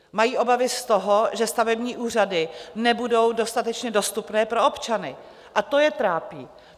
Mají obavy z toho, že stavební úřady nebudou dostatečně dostupné pro občany, a to je trápí.